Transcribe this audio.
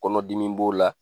Kɔnɔ dimi b'o la